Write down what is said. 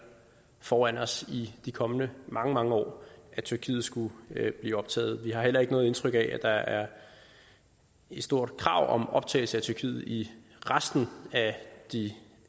foran os i de kommende mange mange år at tyrkiet skulle blive optaget vi har heller ikke noget indtryk af at der er et stort krav om optagelse af tyrkiet i resten af de